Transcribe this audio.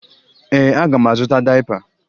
Ee, aga m azụta dayịpa